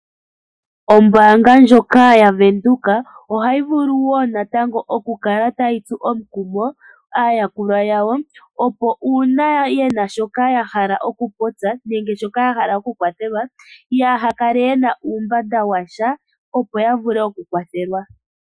Ombaanga djoka yaVenduka ohayi vulu wo natango oku kala tayi tsu omukumoaayakulwa yawo opo uuna yena shoka ya hala oku popya, nenge shimwe shoka ya hala oku kwwathelwa, yaa hakale yena uumbanda washa opo ya vule oku kwathelwa.